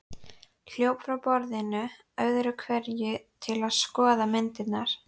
Hljóp frá borðinu öðru hverju til að skoða myndirnar.